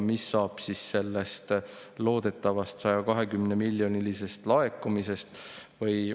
Mis saab sellest loodetavast 120‑miljonilisest laekumisest?